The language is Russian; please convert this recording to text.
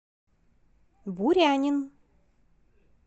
бурянин